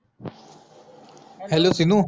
HALLO सिननू